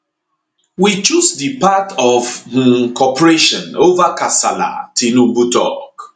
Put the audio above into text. we choose di path of um cooperation ova kasala tinubu tok